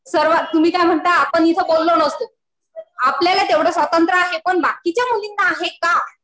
सर्व, तुम्ही काय म्हणता आपण इथं बोललो नसतो. आपल्याला तेवढं स्वातंत्र्य आहे. पण बाकीच्या मुलींना आहे का?